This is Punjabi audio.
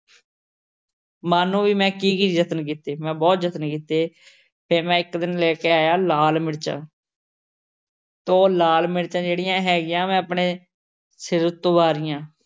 ਮੰਨ ਲਓ ਬਈ ਮੈਂ ਕੀ ਕੀ ਯਤਨ ਕੀਤੇ। ਮੈਂ ਬਹੁਤ ਯਤਨ ਕੀਤੇ। ਫੇਰ ਮੈਂ ਇੱਕ ਦਿਨ ਲੈ ਕੇ ਆਇਆ ਲਾਲ ਮਿਰਚਾਂ ਉਹ ਲਾਲ ਮਿਰਚਾਂ ਜਿਹੜੀਆਂ ਹੈਗੀਆਂ ਮੈਂ ਆਪਣੇ ਸਿਰ ਉੱਤੋਂ ਵਾਰੀਆਂ।